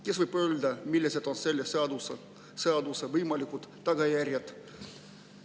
Kes võib öelda, millised on selle seaduse võimalikud tagajärjed?